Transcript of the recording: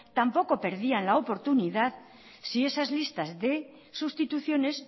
tampoco perdían la oportunidad si esas listas de sustituciones